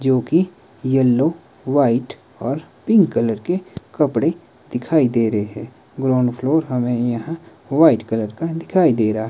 जो की yellow white और पिंक कलर के कपड़े दिखाई दे रहे हैं। ग्राउंड फ्लोर हमें यहां व्हाइट कलर का दिखाई दे रहा है।